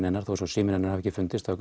hennar þó að síminn hennar hafi ekki fundist þá